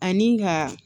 Ani ka